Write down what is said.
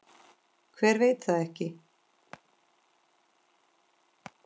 Hver veit það ekki?